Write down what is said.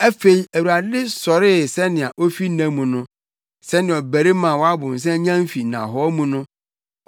Afei Awurade sɔree sɛnea ofi nna mu no, sɛnea ɔbarima a wabow nsa nyan fi nnahɔɔ mu no.